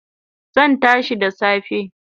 Zan tashi da safe